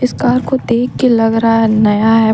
Car को देख के लग रहा है नया है।